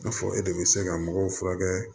N'a fɔ e de be se ka mɔgɔw furakɛ